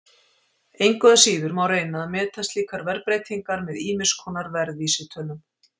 Engu að síður má reyna að meta slíkar verðbreytingar með ýmiss konar verðvísitölum.